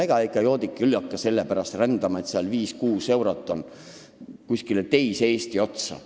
Ega ikka joodik ei hakka sellepärast kuhugi teise Eesti otsa rändama, et 5–6 eurot võita.